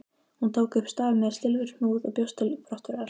Hún tók upp staf með silfurhnúð og bjóst til brottferðar.